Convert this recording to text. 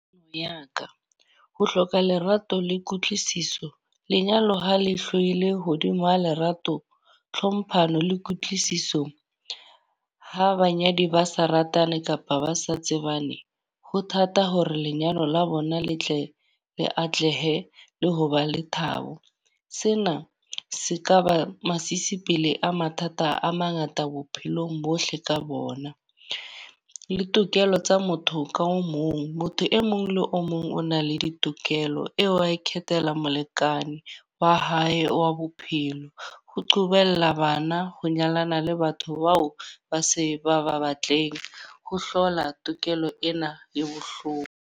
ho hloka lerato le kutlwisiso. Lenyalo ha le hlohile hodimo ho lerato, tlhomphano le kutlwisiso. Ha banyadi ba sa ratane kapa ba sa tsebane. Ho thata hore lenyalo la bona le tle le atlehe le ho ba le thabo. Sena se ka ba masisipele a mathata a mangata bophelong bohle ka bona. Le tokelo tsa motho ka o mong. Motho e mong le o mong o na le ditokelo eo wa, ikhethela molekane wa hae wa bophelo. Ho qobella bana ho nyalana le batho bao ba se ba ba batleng, ho hlola tokelo ena e bohloko.